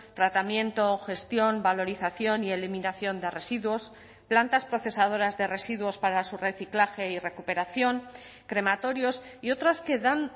tratamiento gestión valorización y eliminación de residuos plantas procesadoras de residuos para su reciclaje y recuperación crematorios y otras que dan